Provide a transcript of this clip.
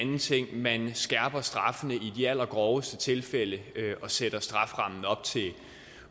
man skærper straffene i de allergroveste tilfælde og sætter strafferammen op til